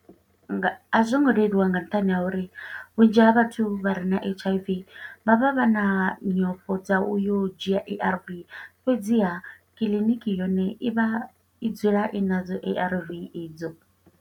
A zwo ngo leluwa nga nṱhani ha uri, vhunzhi ha vhathu vha re na H_I_V, vha vha vha na nyofho dza u yo u dzhia A_R_V. Fhedziha, kiḽiniki yone i vha, i dzula i nadzo A_R_V i dzo.